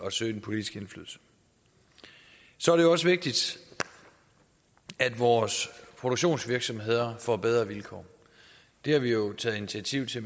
at søge den politiske indflydelse så er det også vigtigt at vores produktionsvirksomheder får bedre vilkår det har vi jo taget initiativ til